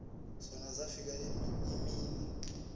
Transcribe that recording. zona zafika iimini